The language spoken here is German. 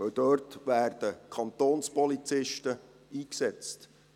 Denn dort werden Kantonspolizisten eingesetzt.